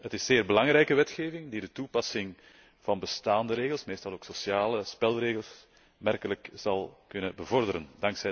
Het is zeer belangrijke wetgeving die de toepassing van bestaande regels, meestal ook sociale spelregels, aanmerkelijk zal kunnen bevorderen.